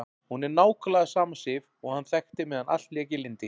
Hún er nákvæmlega sama Sif og hann þekkti meðan allt lék í lyndi.